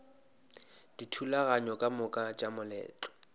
dithulaganyo ka moka tša moletlo